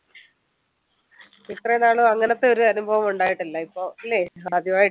ഇത്രയും നാളും അങ്ങനെതൊരു അനുഭവമുണ്ടായിട്ടില്ല. ഇപ്പൊ അല്ലെ? ആദ്യമായി